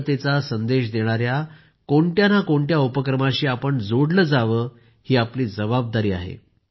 एकतेचा संदेश देणाऱ्या कोणत्या नं कोणत्या उपक्रमाशी आपण जोडलं जावं ही आपली जबाबदारी आहे